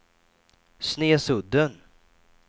Snesudden